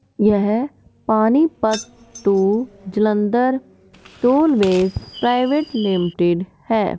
यह Panipat to Jalandhar tollways private limited है।